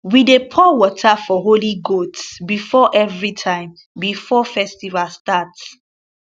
we dey pour water for holy goats before everytime before festival start